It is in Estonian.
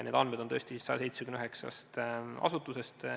Need andmed on pärit 179 asutusest.